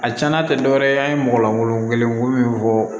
A cɛna tɛ dɔ wɛrɛ ye an ye mɔgɔ golo kelen min fɔ